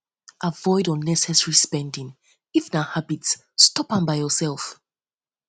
um avoid unnessesary spending if na habit stop am by yourself